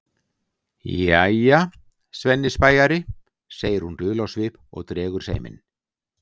Jæja, Svenni spæjari, segir hún dul á svip og dregur seiminn.